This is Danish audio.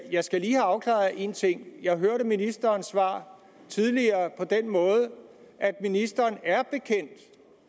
jeg skal lige have afklaret én ting jeg hørte ministerens svar tidligere på den måde at ministeren